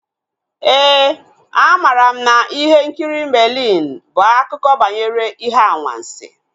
Éè, a mara m na ihe nkiri Merlin bụ akụkọ banyere ihe anwansi